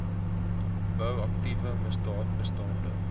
bou aktiewe misdaadbestande